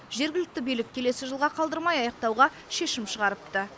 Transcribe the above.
жергілікті билік келесі жылға қалдырмай аяқтауға шешім шығарыпты